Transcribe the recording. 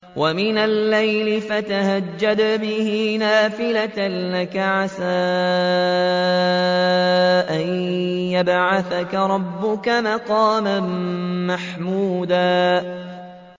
وَمِنَ اللَّيْلِ فَتَهَجَّدْ بِهِ نَافِلَةً لَّكَ عَسَىٰ أَن يَبْعَثَكَ رَبُّكَ مَقَامًا مَّحْمُودًا